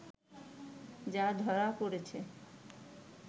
যা ধরা পড়েছে